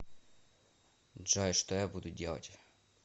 джой что я буду делать